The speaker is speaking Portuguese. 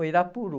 O Irapuru...